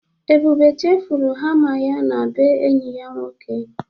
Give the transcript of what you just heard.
Ebube chefụrụ hama ya na bee enyi ya nwoke.